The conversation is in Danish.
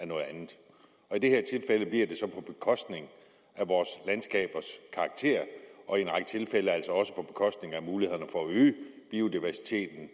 noget andet og i det her tilfælde bliver det så på bekostning af vores landskabers karakter og i en række tilfælde altså også på bekostning af mulighederne for at øge biodiversiteten